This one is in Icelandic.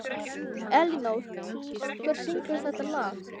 Elínór, hver syngur þetta lag?